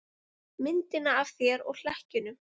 Myndina af þér og hlekkjunum.